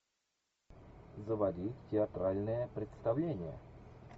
заводи театральное представление